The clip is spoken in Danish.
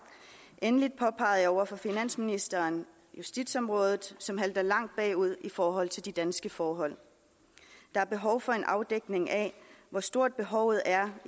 over for finansministeren justitsområdet som halter langt bagud i forhold til danske forhold der er behov for en afdækning af hvor stort behovet er